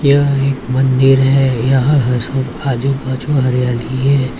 यह एक मंदिर है यह हस आजू बाजू हरियाली है।